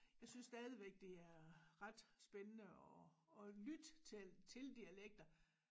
Jeg synes stadigvæk det er ret spændende at at lytte til til dialekter